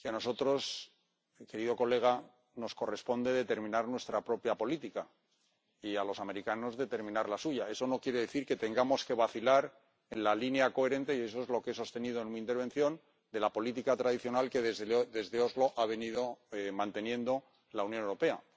Creo que es evidente que a nosotros, querido colega, nos corresponde determinar nuestra propia política, y a los americanos determinar la suya. Eso no quiere decir que tengamos que vacilar en la línea coherente —y eso es lo que he sostenido en mi intervención— de la política tradicional que, desde Oslo, ha venido manteniendo la Unión Europea.